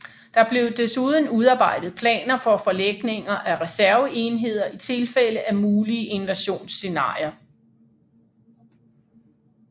Der blev desuden udarbejdet planer for forlægninger af reserveenheder i tilfælde af mulige invasionsscenarier